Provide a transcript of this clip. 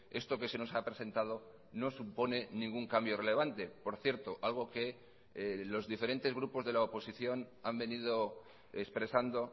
esto que se nos ha presentado no supone ningún cambio relevante por cierto algo que los diferentes grupos de la oposición han venido expresando